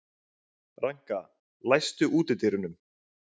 Ranka, læstu útidyrunum.